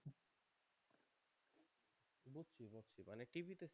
TV